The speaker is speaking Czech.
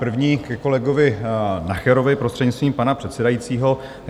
První ke kolegovi Nacherovi, prostřednictvím pana předsedajícího.